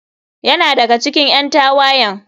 Yana daga cikin ƴan tawayen.